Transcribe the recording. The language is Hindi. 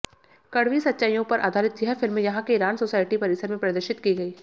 कड़वी सच्चाइयों पर आधारित यह फिल्म यहां के ईरान सोसाइटी परिसर में प्रदर्शित की गई